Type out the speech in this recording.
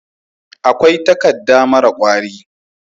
akwai takadda mara kwari